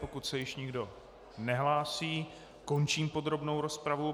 Pokud se již nikdo nehlásí, končím podrobnou rozpravu.